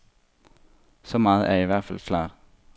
Så meget er i hvert fald klart.